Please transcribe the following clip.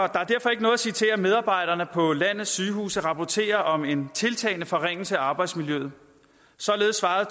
ikke noget at sige til at medarbejderne på landets sygehuse rapporterer om en tiltagende forringelse af arbejdsmiljøet således svarede